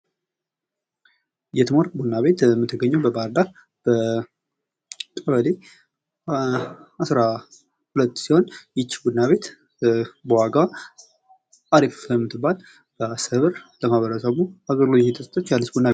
የትምወርቅ ቡና ቤት የምትገኘው በባህር ዳር በቀበሌ አስራሁለት ሲሆን ይችህ ቡና ቤት የዋጋዋ አሪፍ የምትባል በአስር ብር ለማህበረሰቡ አገልግሎት እየሰጠች ቡና ቤት